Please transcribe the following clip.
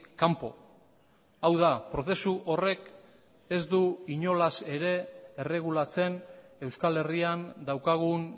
kanpo hau da prozesu horrek ez du inolaz ere erregulatzen euskal herrian daukagun